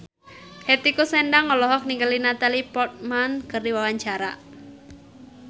Hetty Koes Endang olohok ningali Natalie Portman keur diwawancara